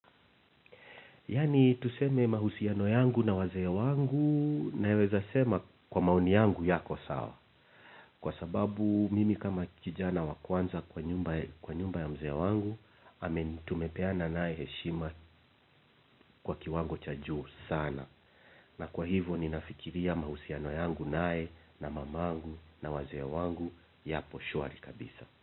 Yaani tuseme mahusiano yangu na wazee wangu, naeweza sema kwa maoni yangu yako sawa. Kwa sababu mimi kama kijana wa kwanza kwa nyumba ya mzee wangu, tumepeana naye heshima kwa kiwango cha juu sana. Na kwa hivyo ninafikiria mahusiano yangu naye na mamangu na wazee wangu yapo shwari kabisa.